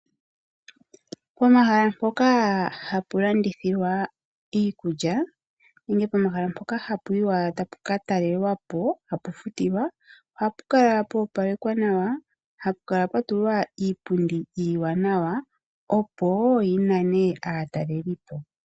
Pomahala mpoka hapu landithilwa iikulya nenge pomahala mpoka hapu yiwa tapu ka talelwa po ohapu futilwa. Ohapu kala pwa opalekwa nawa, hapu kala pwa tulwa iipundi iiwanawa, opo yi nane aataleli po.